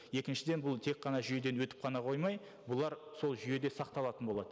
екіншіден бұл тек қана жүйеден өтіп қана қоймай бұлар сол жүйеде сақталатын болады